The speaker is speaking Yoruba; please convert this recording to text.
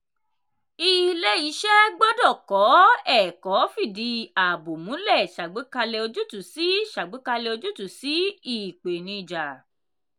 ilé-iṣẹ́ gbọ́dọ̀ kọ́ ẹ̀kọ́ fìdí ààbò múlẹ̀ ṣàgbékalẹ̀ ojútùú sí ṣàgbékalẹ̀ ojútùú sí ìpèníjà.